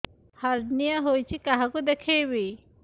hernia ହୋଇଛି କାହାକୁ ଦେଖେଇବି